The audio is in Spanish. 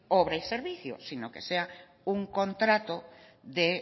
obra y servicio sino que sea un contrato de